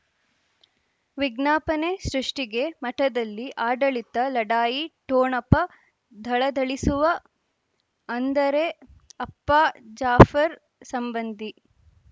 ವಿಜ್ಞಾಪನೆ ಸೃಷ್ಟಿಗೆ ಮಠದಲ್ಲಿ ಆಡಳಿತ ಲಢಾಯಿ ಠೊಣಪ ಧಳಧಳಿಸುವ ಅಂದರೆ ಅಪ್ಪ ಜಾಫರ್ ಸಂಬಂಧಿ